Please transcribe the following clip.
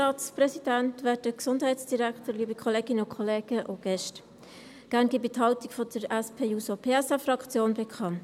Gerne gebe ich die Haltung der SP-JUSO-PSA-Fraktion bekannt.